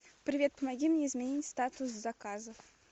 привет помоги мне изменить статус заказа